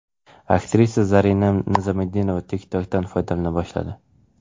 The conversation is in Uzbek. Aktrisa Zarina Nizomiddinova TikTok’dan foydalana boshladi.